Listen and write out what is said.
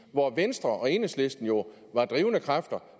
hvor venstre og enhedslisten jo var drivende kræfter